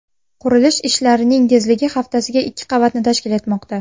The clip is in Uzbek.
Qurilish ishlarining tezligi haftasiga ikki qavatni tashkil etmoqda.